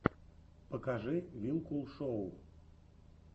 покажи вилкул шоу